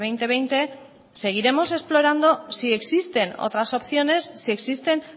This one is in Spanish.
dos mil veinte seguiremos explorando si existen otras opciones si existen